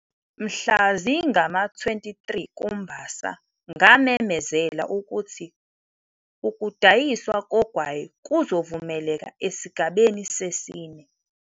Mhla zingama-23 kuMbasa, ngamemezela ukuthi ukudayiswa kogwayi kuzovumeleka esigabeni sesine.